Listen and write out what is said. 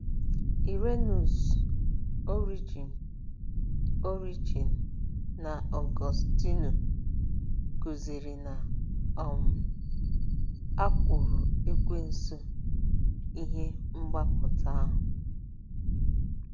Irenaeus, Origen, Origen, na Ọgọstinu kụziri na um a kwụrụ Ekwensu ihe mgbapụta ahụ.